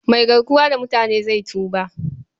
Mai garkuwa da mutanen zai tuba.